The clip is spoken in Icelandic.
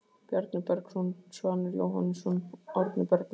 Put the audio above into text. Bjarni Bergsson, Svanur Jóhannesson, Árni Bergmann